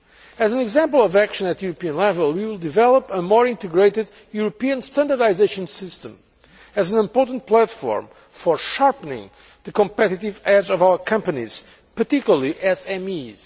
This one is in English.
As an example of action at European level, we will develop a more integrated European standardisation system as an important platform for sharpening the competitive edge of our companies, particularly SMEs.